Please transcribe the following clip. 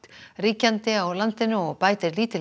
ríkjandi á landinu og bætir lítillega